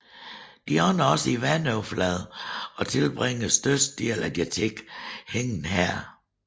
De ånder også i vandoverfladen og tilbringer størstedelen af deres tid hængende her